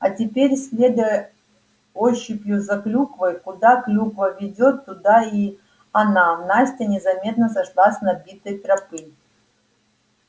а теперь следуя ощупью за клюквой куда клюква ведёт туда и она настя незаметно сошла с набитой тропы